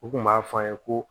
U kun b'a fɔ an ye ko